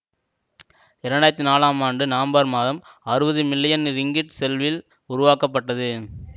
இரண்டு ஆயிரத்தி நாலம் ஆண்டு நவம்பர் மாதம் அறுபது மில்லியன் ரிங்கிட் செல்வில் உருவாக்க பட்டது